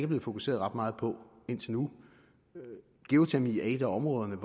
blevet fokuseret ret meget på indtil nu geotermi er et af områderne